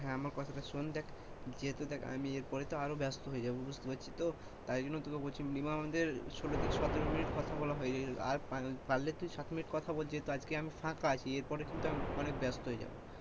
হ্যাঁ আমার কথাটা শোন দেখ যেহেতু দেখ আমি এরপরে তো আরো ব্যস্ত হয়ে যাব, বুঝতে পারছিস তো তোকে বলছি minimum আমাদের সোলো থেকে সতেরো minute কথা বলা হয়ে গেছে আর পারলে তুই সাথে minute কথা বল যেহেতু আজকে আমি ফাঁকা আছে এর পরে কিন্তু আমি ব্যস্ত হয়ে যাব,